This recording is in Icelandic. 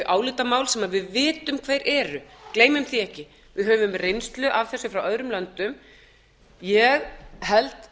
álitamál sem við vitum hver eru gleymum því ekki við höfum reynslu af þessu frá öðrum löndum ég held